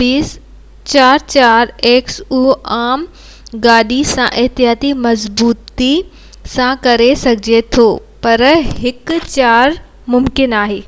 base 4x4 سان ئي ممڪن آهي